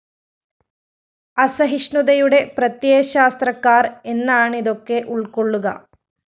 അസഹിഷ്ണുതയുടെ പ്രത്യയശാസ്ത്രക്കാര്‍ എന്നാണിതൊക്കെ ഉള്‍ക്കൊള്ളുക!!